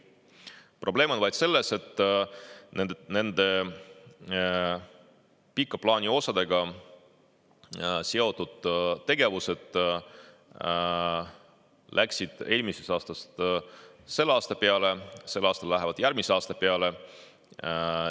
Probleem on vaid selles, et nende pika plaani osadega seotud tegevused läksid eelmisest aastast selle aasta peale, sel aastal lähevad järgmise aasta peale.